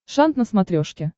шант на смотрешке